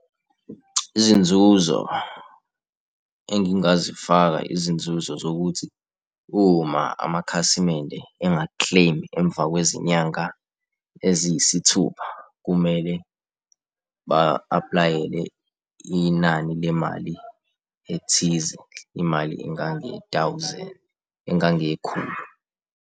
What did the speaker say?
Izinzuzo engingazifaka izinzuzo zokuthi uma amakhasimende enga-claim-i emva kwezinyanga eziyisithupha kumele ba-apply-ele inani lemali ethize imali engange-thousand, engangekhulu.